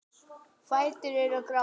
Fætur eru gráir.